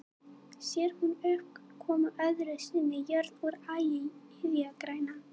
Sér hún upp koma öðru sinni jörð úr ægi iðjagræna.